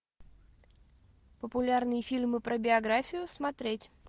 популярные фильмы про биографию смотреть